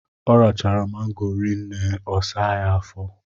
Ọ rachara mango rinne ọ saa ya afọ.